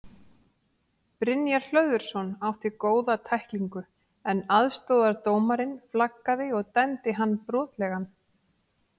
Brynjar Hlöðversson átti góða tæklingu en aðstoðardómarinn flaggaði og dæmdi hann brotlegan.